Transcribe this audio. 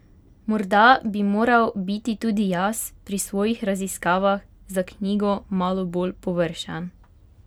Morda bi moral biti tudi jaz pri svojih raziskavah za knjigo malo bolj površen!